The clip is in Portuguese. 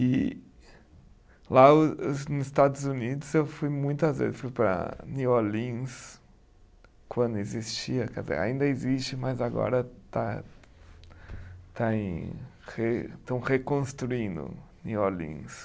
E lá o os nos Estados Unidos eu fui muitas vezes, fui para New Orleans, quando existia, quer dizer, ainda existe, mas agora está, está em re, estão reconstruindo New Orleans.